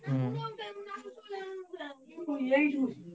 ହୁଁ bgspeech